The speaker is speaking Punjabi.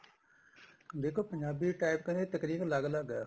ਦੇਖੋ ਪੰਜਾਬੀ type ਕਹੇ ਤਕਰੀਬਨ ਅੱਲਗ ਅੱਲਗ ਏ